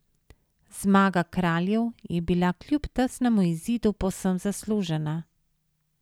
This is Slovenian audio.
Zmaga Kraljev je bila kljub tesnemu izidu povsem zaslužena.